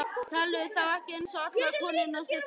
Telurðu þá ekki eins og allar konurnar sem þú?